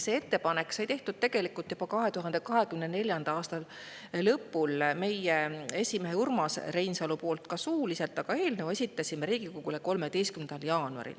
See ettepanek sai tehtud tegelikult juba 2024. aasta lõpul meie esimehe Urmas Reinsalu poolt suuliselt, aga eelnõu esitasime Riigikogule 13. jaanuaril.